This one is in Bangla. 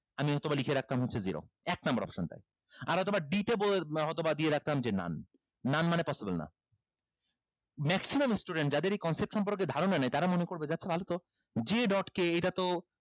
আমি হয়তোবা লিখে রাখতাম হচ্ছে zero এক number option টায় আর হয়তোবা d তে হয়তোবা দিয়ে রাখতাম যে none none মানে possible না maximum student যাদের এই concept সম্পর্কে ধারনা নাই তারা মনে করবে যে আচ্ছা ভালো তো j dot k এটাতো